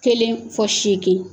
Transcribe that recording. Kelen fɔ segin